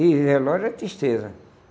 E relógio é tristeza.